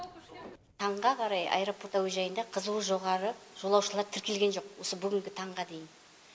таңға қарай аэропорт әуежайында қызуы жоғары жолаушылар тіркелген жоқ осы бүгінгі таңға дейін